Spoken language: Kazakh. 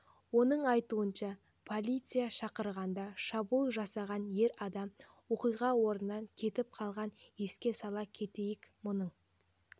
оның айтуынша полиция шақырғанда шабуыл жасаған ер адам оқиға орнынан кетіп қалған еске сала кетейік мұның